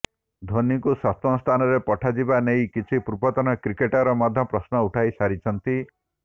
ଧୋନିଙ୍କୁ ସପ୍ତମ ସ୍ଥାନରେ ପଠାଯିବା ନେଇ କିଛି ପୂର୍ବତନ କ୍ରିକେଟର୍ ମଧ୍ୟ ପ୍ରଶ୍ନ ଉଠାଇ ସାରିଛନ୍ତି